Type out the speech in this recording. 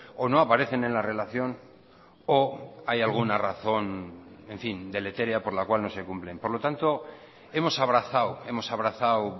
o no aparecen en la relación o hay alguna razón en fin deletérea por la cual no se cumplen por lo tanto hemos abrazado hemos abrazado